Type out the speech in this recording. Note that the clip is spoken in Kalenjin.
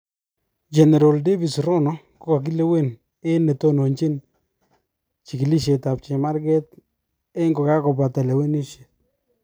Generol Davis Rono kokokilewen eng netonochin chikilishet ab chemarget eng kokakobata lewenishet.